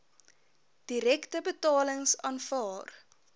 direkte betalings aanvaar